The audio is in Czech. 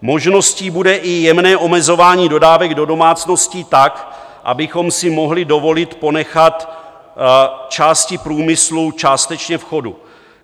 Možností bude i jemné omezování dodávek do domácností tak, abychom si mohli dovolit ponechat části průmyslu částečně v chodu.